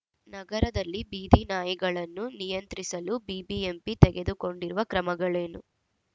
ನಗರದಲ್ಲಿ ಬೀದಿ ನಾಯಿಗಳನ್ನು ನಿಯಂತ್ರಿಸಲು ಬಿಬಿಎಂಪಿ ತೆಗೆದುಕೊಂಡಿರುವ ಕ್ರಮಗಳೇನು